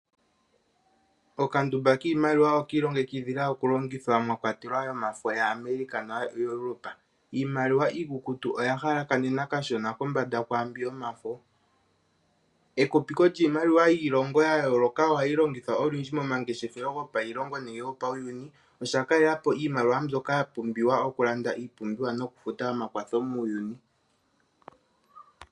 Okandumba kiimaliwa oka ilongekidhila okulongithwa mwa kwatelwa iimaliwa yaAmerica noyomiilongo yaEuropa. Iimaliwa iikukutu oya halakanena kashona kwaa mbi yomafo. Ekupiko lyiimaliwa yiilongo ya yooloka ohali longithwa olundji momangeshefelo gopailongo nenge yopauyuni. Osha kalela po iimaliwa mbyoka ya pumbiwa okulanda iipumbiwa nokufuta omakwatho muuyuni.